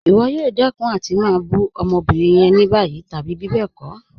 Ìwọ̀ yóò dẹkun àti má bù ọmọ́bírín yẹn ní bayí tàbí bíbẹ́ẹ̀kọ̀.